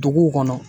Dugu kɔnɔ